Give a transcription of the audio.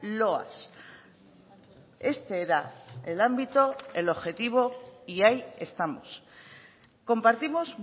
loas este era el ámbito el objetivo y ahí estamos compartimos